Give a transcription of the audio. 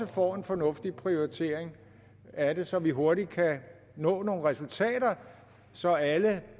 får en fornuftig prioritering af det så vi hurtigt kan nå nogle resultater så alle